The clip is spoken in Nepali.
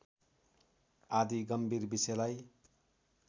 आदि गम्भीर विषयलाई